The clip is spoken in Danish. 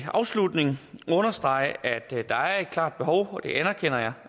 afslutning understrege at der er et klart behov det anerkender jeg